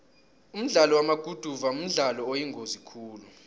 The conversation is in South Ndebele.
umdlalo wamaguduva mdlalo oyingozi khulu